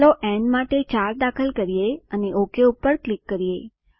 ચાલો ન માટે 4 દાખલ કરીએ અને ઓક પર ક્લિક કરીએ